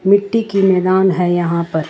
मिट्टी की मैदान है यहां पर--